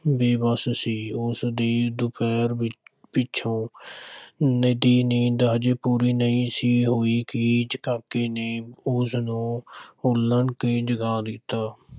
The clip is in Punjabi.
ਬੇਵੱਸ ਸੀ, ਉਸ ਦੀ ਦੁਪਹਿਰ ਪਿ ਪਿੱਛੋਂ ਦੀ ਨੀਂਦ ਅਜੇ ਪੂਰੀ ਨਹੀਂ ਸੀ ਹੋਈ ਕਿ ਕਾਕੇ ਨੇ ਉਸ ਨੂੰ ਹਲੂਣ ਕੇ ਜਗਾ ਦਿੱਤਾ।